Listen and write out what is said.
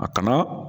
A kanu